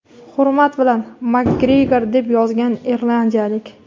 Hurmat bilan, Makgregor, deb yozgan irlandiyalik..